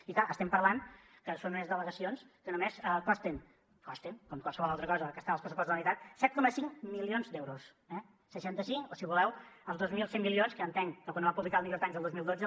i clar estem parlant que són unes delegacions que només costen costen com qualsevol altra cosa que està en els pressupostos de la generalitat set coma cinc milions d’euros eh seixanta cinc o si voleu els dos mil cent milions que entenc que quan ho va publicar el new york times el dos mil dotze